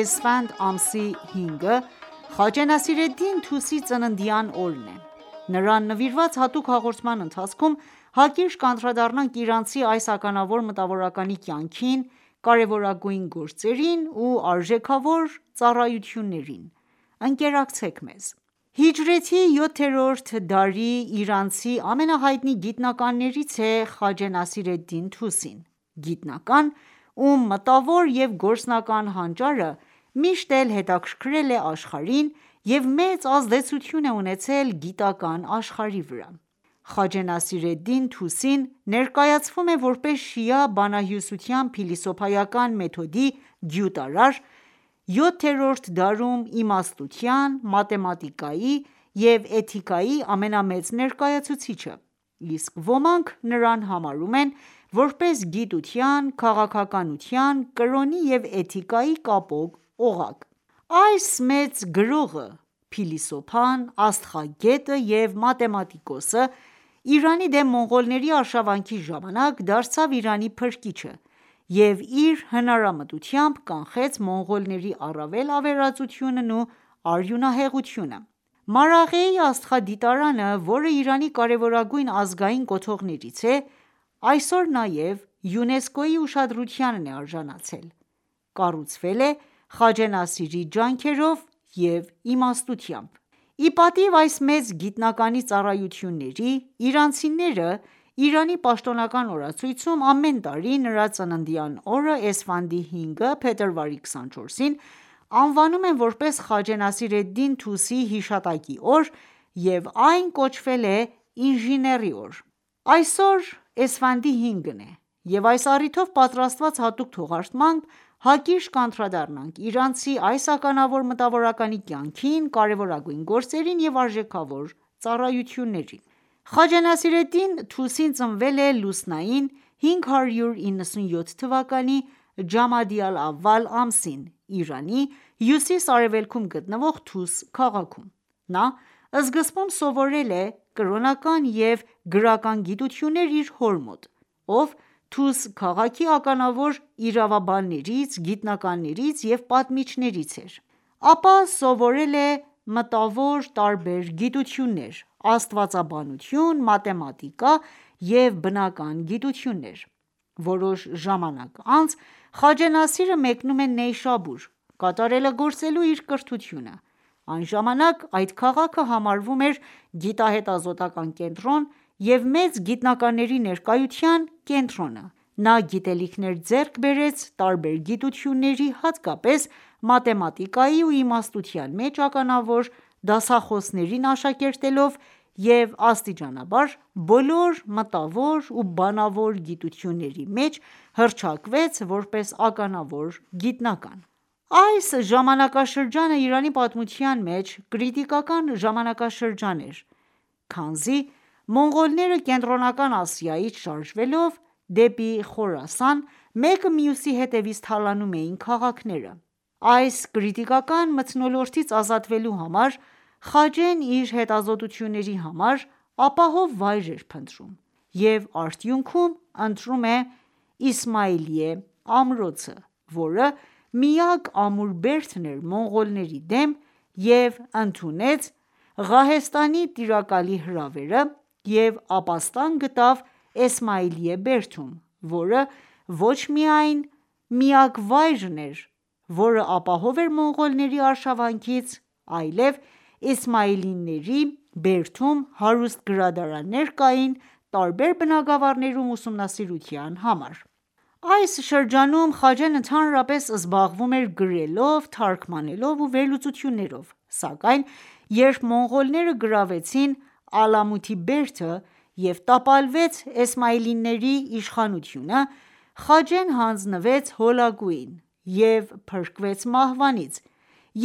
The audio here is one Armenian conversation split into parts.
էսֆանդ ամսի 5-ը) Խաջե Նասիր Էդդին Թուսիի ծննդյան օրն է։Նրան նվիրված հատուկ հաղորդման ընթացքում հակիրճ կանդրադառնանք իրանցի այս ականավոր մտավորականի կյանքին, կարևորագույն գործերին ու արժեքավոր ծառայություններին։ Ընկերակցեք մեզ: Հիջրեթի յոթերորդ դարի իրանցի ամենահայտնի գիտնականներից է Խաջե Նասիր էդդին Թուսին:Գիտնական, ում մտավոր և գործնական հանճարը միշտ էլ հետաքրքրել է աշխարհին և մեծ ազդեցություն է ունեցել գիտական ​​աշխարհի վրա։ Խաջե Նասիր Էդդին Թուսին ներկայացվում է, որպես շիա բանահյուսության փիլիսոփայական մեթոդի գյուտարար, յոթերորդ դարում իմաստության, մաթեմատիկայի և էթիկայի ամենամեծ ներկայացուցիչը, իսկ ոմանք՝ նրան համարում են ,որպես գիտության, քաղաքականության, կրոնի և էթիկայի կապող օղակ:Այս մեծ գրողը, փիլիսոփան, աստղագետը և մաթեմատիկոսը, Իրանի դեմ մոնղոլների արշավանքի ժամանակ դարձավ Իրանի փրկիչը և իր հնարամտությամբ կանխեց մոնղոլների առավել ավերածությունն ու արյունահեղությունը։ Մարաղեի աստղադիտարանը, որը Իրանի կարևորագույն ազգային կոթողներից է, և այսօր նաև ՅՈՒՆԵՍԿՕ-ի ուշադրությանն է արժանացել, կառուցվել է Խաջե Նասիրի ջանքերով և իմաստությամբ։Ի պատիվ այս մեծ գիտնականի ծառայությունների, իրանցիները Իրանի պաշտոնական օրացույցում ամեն տարի նրա ծննդյան օրը՝ էսֆանդի 5-ը (փետրվարի 24) անվանում են ,որպես Խաջե Նասիր Էդդին Թուսիի հիշատակի օր և այն կոչվել է ինժեների օր։ Այսօր Էսֆանդի 5-ն է, և այս առիթով, պատրաստած հատուկ թողարկմամբ, հակիրճ կանդրադառնանք իրանցի այս ականավոր մտավորականի կյանքին, կարևորագույն գործերին ու արժեքավոր ծառայություններին։ Խաջե Նասիր Էդդին Թուսին Խաջե Նասիր Էդդին Թուսին ծնվել է Լուսնային 597 թվականի Ջամադի ալ- ավալ ամսին, Իրանի հյուսիս-արևելքում գտնվող Թուս քաղաքում:Նա, սկզբում սովորել է կրոնական և գրական գիտություններ իր հոր մոտ, ով Թուս քաղաքի ականավոր իրավաբաններից, գիտնականներից և պատմիչներից էր, ապա սովորել է մտավոր տարբեր գիտություններ՝ աստվածաբանություն, մաթեմատիկա և բնական գիտություններ։ Որոշ ժամանակ անց Խաջե Նասիրը մեկնում է Նեյշաբուր՝ կատարելագործելու իր կրթությունը, այն ժամանակ այդ քաղաքը համարվում էր գիտահետազոտական ​​կենտրոն և մեծ գիտնականների ներկայության կենտրոնը, նա գիտելիքներ ձեռք բերեց տարբեր գիտությունների, հատկապես մաթեմատիկայի ու իմաստության մեջ ականավոր դասախոսներին աշակերտելով և աստիճանաբար բոլոր մտավոր ու բանավոր գիտությունների մեջ հռչակվեց ,որպես ականավոր գիտնական: Այս ժամանակաշրջանը Իրանի պատմության մեջ կրիտիկական ժամանակաշրջան էր, քանզի մոնղոլները Կենտրոնական Ասիայից շարժվելով դեպի Խորասան՝ մեկը մյուսի հետևից թալանում էին քաղաքները:Այս կրիտիկական մթնոլորտից ազատվելու համար Խաջեն իր հետազոտությունների համար ապահով վայր էր փնտրում, և արդյունքում ընտրում է Իսմայիլիե ամրոցը, որը միակ ամուր բերդն էր մոնղոլների դեմ և ընդունեց Ղահեստանի տիրակալի հրավերը և ապաստան գտավ Էսմայիլիե բերդերում, որը ոչ միայն միակ վայրն էր, որը ապահով էր մոնղոլների արշավանքից ,այլև Էսմայիլիների բերդերում հարուստ գրադարաններ կային ,տարբեր բնագավառներում ուսումնասիրության համար: Այս շրջանում Խաջեն ընդհանրապես զբաղվում էր գրելով, թարգմանելով ու վերլուծություններով, սակայն երբ մոնղոլները գրավեցին Ալամութի բերդը և տապալվեց Էսմայիլիների իշխանությունը ,Խաջեն ,հանձնվեց Հոլագուին և փրկվեց մահվանից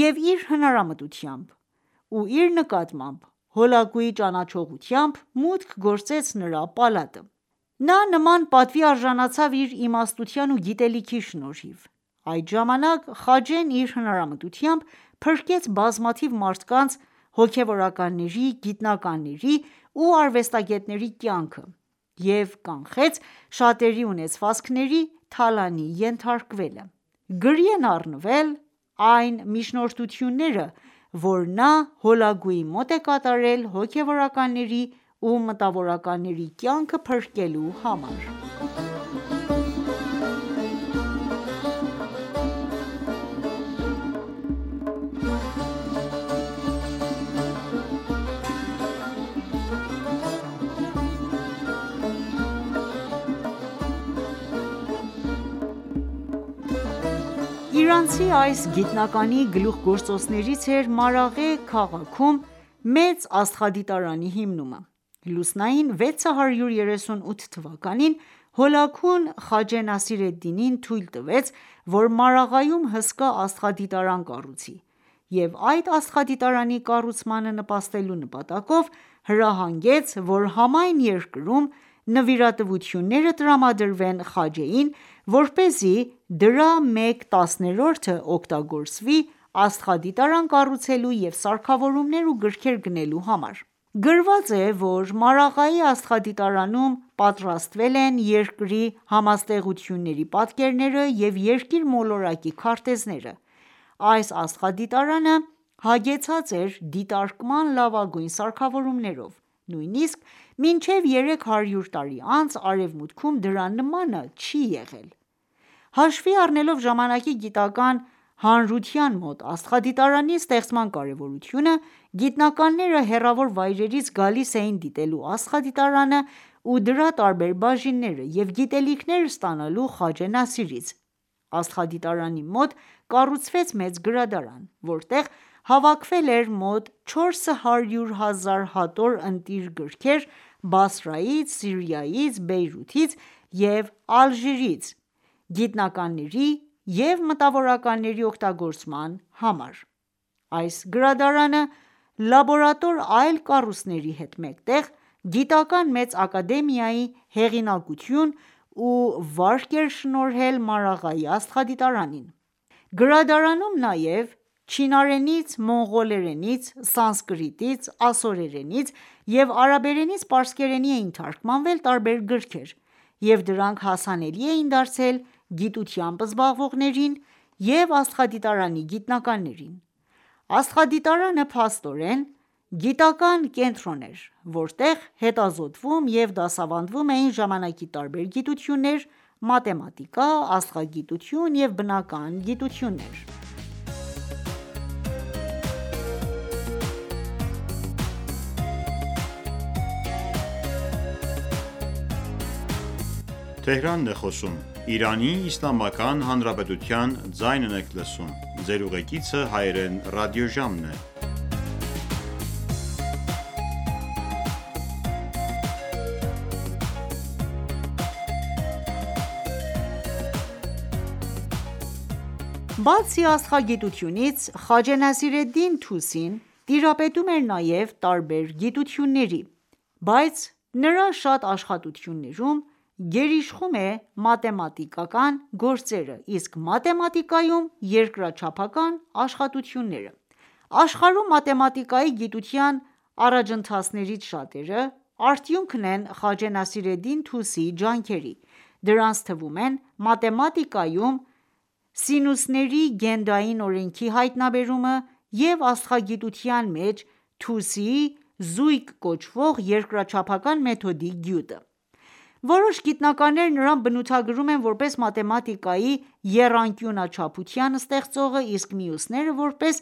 և իր հնարամտությամբ ու իր նկատմամբ Հոլակուի ճանաչողությամբ ,մուտք գործեց նրա պալատը: Նա նման պատվի արժանացավ իր իմաստության ու գիտելիքի շնորհիվ: Այդ ժամանակ խաջեն իր հնարամտությամբ ,փրկեց բազմաթիվ մարդկանց ,հոգևորականների ,գիտնականների ու արվեստագետների կյանքը և կանխեց շատերի ունեցվածքների թալանի ենթարկվելը :Գրի են առնվել այն միջնորդությունները ,որ նա Հոլագուի մոտ է կատարել հոգևորականների ու մտավորականների կյանքը փրկելու համար: Իրանցի այս գիտնականի գլուխգործոցներից էր Մարաղե քաղաքում մեծ աստղադիտարանի հիմնումը։ Լուսնային 638 թվականին, Հոլագուն Խաջե Նասիր Էդդինին թույլ տվեց ,որ Մարաղայում հսկա աստղադիտարան կառուցի և այդ աստղադիտարանի կառուցմանը նպաստելու նպատակով հրահանգեց ,որ համայն երկրում նվիրատվությունները տրամադրվեն Խաջեին, որպեսզի դրա մեկ տասներորդը օգտագործվի աստղադիտարան կառուցելու և սարքավորումներ և գրքեր գնելու համար:Գրված է, որ Մարաղեի աստղադիտարանում պատրաստվել են Երկրի համաստեղությունների պատկերները ու երկիր մոլորակի քարտեզները։ Այս աստղադիտարանը հագեցած էր դիտարկման լավագույն սարքավորումներով:Նույնիսկ մինչև երեք հարյուր տարի անց ,արևմուտքում դրա նմանը չի եղել :Հաշվի առնելով ժամանակի գիտական ​​հանրության մոտ աստղադիտարանի ստեղծման կարևորությունը, գիտնականները հեռավոր վայրերից գալիս էին դիտելու աստղադիտարանը ու դրա տարբեր բաժինները և գիտելիքներ ստանալու Խաջե Նասիրից:Աստղադիտարանի մոտ կառուցվեց մեծ գրադարան, որտեղ հավաքվել էր մոտ 400,000 հատոր ընտիր գրքեր՝ Բաղդադից, Սիրիայից, Բեյրութից և Ալժիրից գիտնականների և մտավորականների օգտագործման համար:Այս գրադարանը, լաբորատոր այլ կառույցների հետ մեկտեղ, գիտական ​​մեծ ակադեմիայի հեղինակություն ու վարկ էր շնորհել Մարաղեի աստղադիտարանին։ Գրադարանում նաև չինարենից, մոնղոլերենից, սանսկրիտից, ասորերենից և արաբերենից պարսկերենի էին թարգմանվել տարբեր գրքեր և դրանք հասանելի էին դարձրել գիտությամբ զբաղվողներին և աստղադիտարանի գիտնականներին:Աստղադիտարանը, փաստորեն, գիտական ​​կենտրոն էր, որտեղ հետազոտվում և դասավանդվում էին ժամանակի տարբեր գիտություններ՝ մաթեմատիկա, աստղագիտություն և բնական գիտություններ։ Բացի աստղագիտությունից, Խաջե Նասիր Էդդին Թուսին տիրապետում էր նաև տարբեր գիտությունների, բայց նրա շատ աշխատություններում գերիշխում է մաթեմատիկական գործերը, իսկ մաթեմատիկայում՝ երկրաչափական աշխատությունները։ Աշխարհում մաթեմատիկայի գիտության առաջընթացներից շատերը ,արդյունքն են՝Խաջե ՆասիրԷդդին Թուսիի ջանքերի: Դրանց թվում են՝ մաթեմատիկայում, սինուսների գնդային օրենքի հայտնաբերումը և աստղագիտության մեջ Թուսիի զույգ կոչվող երկրաչափական մեթոդի գյուտը։ Որոշ գիտնականներ նրան բնութագրում են որպես մաթեմատիկայի եռանկյունաչափության ստեղծող, իսկ մյուսները՝ որպես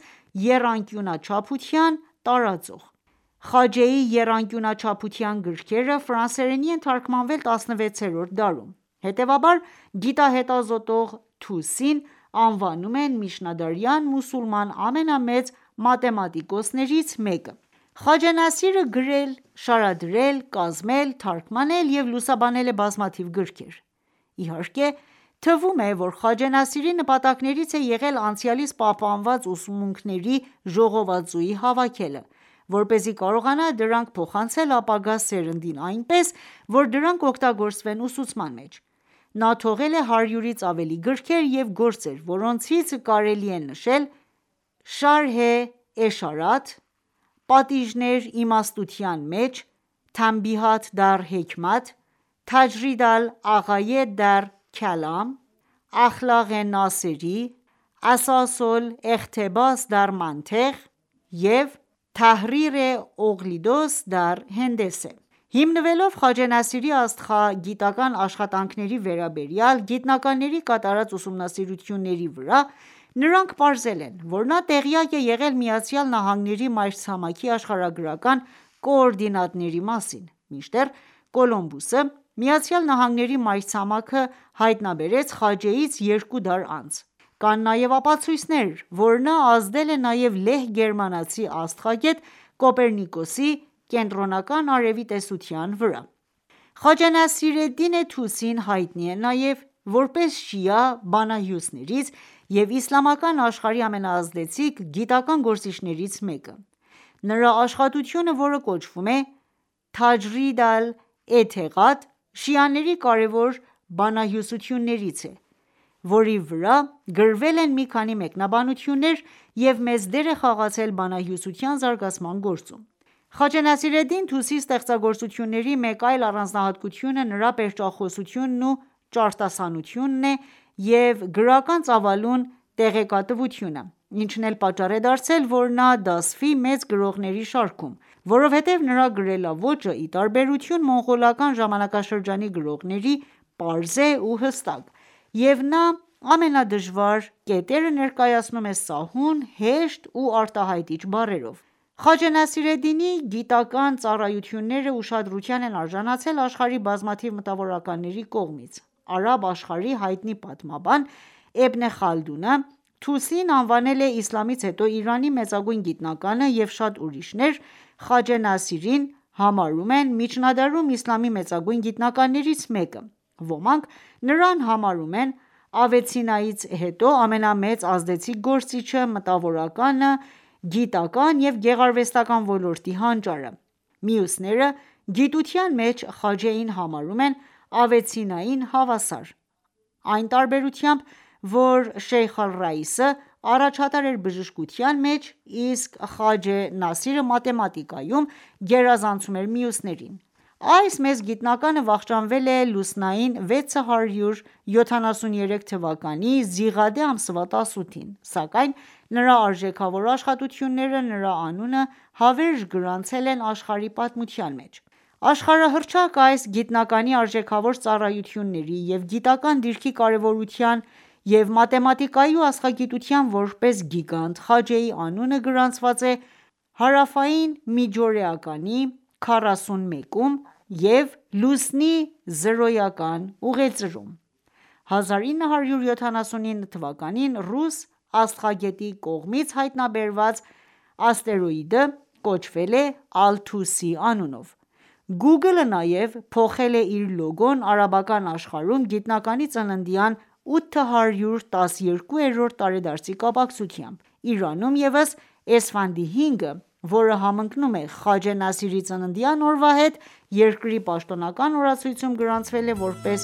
եռանկյունաչափության տարածող։ Խաջեի Եռանկյունաչափության գրքերը ֆրանսերենի են թարգմանվել 16-րդ դարում։ Հետևաբար, գիտահետազոտող Թուսիին անվանում են միջնադարյան մուսուլման ամենամեծ մաթեմատիկոսներից մեկը։ Խաջե Նասիրը գրել, շարադրել, կազմել, թարգմանել և լուսաբանել է բազմաթիվ գրքեր։ Իհարկե, թվում է, որ Խաջե Նասիրի նպատակներից է եղել՝ անցյալից պահպանված ուսմունքների ժողովածուի հավաքելը, որպեսզի կարողանա դրանք փոխանցել ապագա սերնդին այնպես, որ դրանք օգտագործվեն ուսուցման մեջ:Նա թողել է 100-ից ավելի գրքեր և գործեր, որոնցից կարելի է նշել «Շարհե Էշարաթ», «Պատիժներ իմաստության մեջ»(Թանբիհաթ դառ Հեքմաթ), «Թաջրիդ ալ- Աղայեդ դառ Քալամ», «Ախլաղե Նասերի», «Ասաս ոլ էղթեբաս դառ Մանթեղ » և «Թահռիռե Օղլիդոս դառ Հենդեսե»: Հիմնվելով Խաջե Նասիրի աստղագիտական ​​աշխատանքների վերաբերյալ գիտնականների կատարած ուսումնասիրությունների վրա, նրանք պարզել են, որ նա տեղյակ է եղել ԱՄՆ-ի մայրցամաքի աշխարհագրական կոորդինատների մասին, մինչդեռ Կոլումբոսը, ԱՄՆ-ի մայրցամաքը հայտնաբերեց Խաջեից երկու դար անց։ Կան նաև ապացույցներ, որ նա ազդել է նաև լեհ-գերմանացի աստղագետ Կոպեռնիկոսի կենտրոնական արևի տեսության վրա։ Խաջե Նասիր Էդդին Թուսին հայտնի է նաև, որպես շիա բանահյուսներից և իսլամական աշխարհի ամենաազդեցիկ գիտական ​​գործիչներից մեկը:Նրա աշխատությունը, որը կոչվում է «Թաջրիդ ալ Էթեղադ», շիաների կարևորագույն բանահյուսություններից է, որի վրա գրվել են մի քանի մեկնաբանություններ և մեծ դեր է խաղացել բանահյուսության զարգացման գործում։ Խաջե Նասիր Էդդին Թուսիի ստեղծագործությունների մեկ այլ առանձնահատկությունը նրա պերճախոսությունն ու ճարտասանությունն է և գրական ծավալուն տեղեկատվությունը, ինչն էլ պատճառ է դարձել, որ նա դասվի մեծ գրողների շարքում, որովհետև նրա գրելաոճը, ի տարբերություն մոնղոլական ժամանակաշրջանի գրողների, պարզ է ու հստակ և նա ամենադժվար կետերը ներկայացնում է սահուն, հեշտ ու արտահայտիչ բառերով։ Խաջե Նասիր Էդդինի գիտական ​​ծառայությունները ուշադրության են արժանացել աշխարհի բազմաթիվ մտավորականների կողմից: Արաբ աշխարհի հայտնի պատմաբան Իբն Խալդունը ,Թուսիին անվանել է իսլամից հետո Իրանի մեծագույն գիտնականը և շատ ուրիշներ ,Խաջե Նասիրին համարում են միջնադարում իսլամի մեծագույն գիտնականներից մեկը:Ոմանք նրան համարում են Ավե Ցիննայից հետո ամենամեծ ազդեցիկ գործիչը, մտավորականը, գիտական ​​և գեղարվեստական ​​ոլորտի հանճարը:Մյուսները գիտության մեջ Խաջեին համարում են Ավե Ցիննային հավասար, այն տարբերությամբ, որ Շեյխ ալ-Ռաիսը առաջատար էր բժշկության մեջ, իսկ Խաջե Նասիրը մաթեմատիկայում գերազանցում էր մյուսներին։ Այս մեծ գիտնականը վախճանվել է լուսնային 673 թվականի զիղադե ամսվա 18 -ին, սակայն նրա արժեքավոր աշխատությունները նրա անունը հավերժ գրանցել են աշխարհի պատմության մեջ: Աշխարհահռչակ այս գիտնականի արժեքավոր ծառայությունների և գիտական ​​դիրքի կարևորության և մաթեմատիկայի ու աստղագիտության որպես գիգանտ, Խաջեի անունը գրանցված է հարավային միջօրեականի 41-ում և լուսնի զրոյական ուղեծրում։ 1979 թվականին ռուս աստղագետի կողմից հայտնաբերված աստերոիդը կոչվել է Ալ-Թուսի անունով:Google-ը նաև փոխել է իր լոգոն արաբական աշխարհում գիտնականի ծննդյան 812-րդ տարեդարձի կապակցությամբ:Իրանում ևս Էսֆանդ 5-ը, որը համընկնում է Խաջե Նասիրի ծննդյան օրվա հետ, երկրի պաշտոնական օրացույցում գրանցվել է որպես